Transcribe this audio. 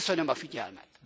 Köszönöm a figyelmet.